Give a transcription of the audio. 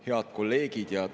Head kolleegid!